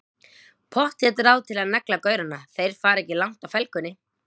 Pottþétt ráð til að negla gaurana, þeir fara ekki langt á felgunni!